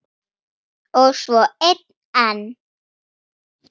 Og svo einn enn.